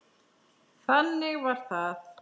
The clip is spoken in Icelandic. Þannig var það.